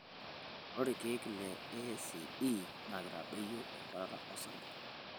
Ore ilkeek le ACE naa keitadoyio enkuatata osarge.